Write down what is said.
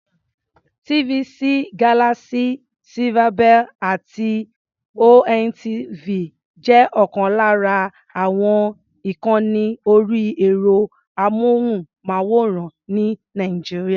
TVC, Galaxy, Silverbird àti ONTV jẹ́ ọ̀kan lára àwọn ìkànni orí ẹ̀rọ-amóhùnmáwòrán ní Nàìjíríà.